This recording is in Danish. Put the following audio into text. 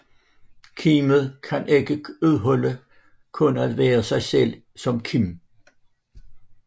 Kimet kan ikke udholde kun at være sig selv som kim